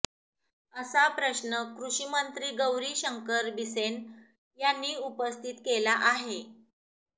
असा प्रश्न कृषीमंत्री गौरी शंकर बिसेन यांनी उपस्थित केला आहे